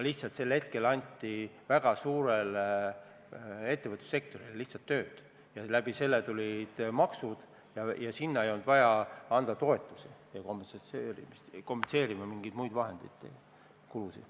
Sel ajal anti väga suurele ettevõtlussektorile lihtsalt tööd ja selle kaudu tulid maksud, nii et sinna ei olnud vaja maksta toetusi ega kompenseerida mingeid muid vahendeid, kulusid.